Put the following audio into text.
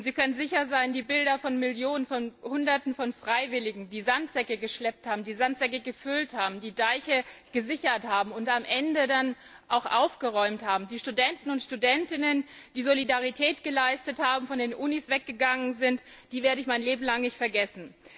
Und Sie können sicher sein, die Bilder von Hunderten von Freiwilligen, die Sandsäcke gefüllt und geschleppt haben, die Deiche gesichert haben und am Ende dann auch aufgeräumt haben, die Studenten und Studentinnen, die Solidarität geleistet haben, von den Unis weggegangen sind, die werde ich mein Leben lang nicht vergessen.